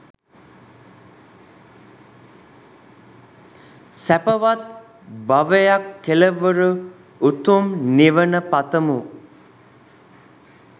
සැපවත් භවයක් කෙළවර උතුම් නිවන පතමු